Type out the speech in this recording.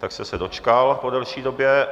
Tak jste se dočkal po delší době.